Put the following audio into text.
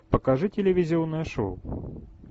покажи телевизионное шоу